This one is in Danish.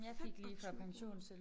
25 kroner